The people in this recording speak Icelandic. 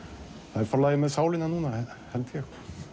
það er Forlagið með sálina núna held ég